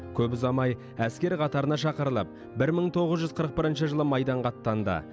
көп ұзамай әскер қатарына шақырылып бір мың тоғыз жүз қырық бірінші жылы майданға аттанды